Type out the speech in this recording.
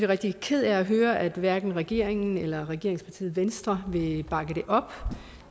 rigtig ked af at høre at hverken regeringen eller regeringspartiet venstre vil bakke det op